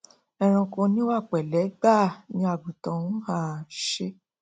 ẹranko oníwà pẹlẹ gbáà ni àgùntàn n um ṣe